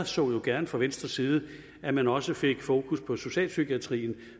så jo gerne fra venstres side at man også fik fokus på socialpsykiatrien